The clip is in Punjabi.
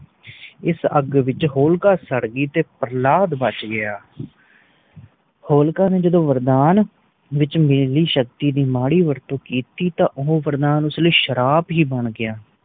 ਇਸ ਅਗ ਵਿਚ ਹੋਲਕਾ ਸਾੜ ਗਯੀ ਤੇ ਪ੍ਰਹਲਾਦ ਬਚ ਗਯਾ ਹੋਲਕਾ ਨੇ ਜਦੋ ਵਰਦਾਨ ਵਿਚ ਮਿਲੀ ਸ਼ਕਤੀ ਦੀ ਮਾੜੀ ਵਰਤੁ ਕੀਤੀ ਤਾ ਉਹ ਵਰਦਾਨ ਉਸ ਲਈ ਸ਼ਰਾਪ ਹੀ ਬਣ ਗਯਾ